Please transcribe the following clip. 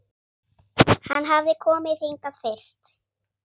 Hann hafði komið hingað fyrst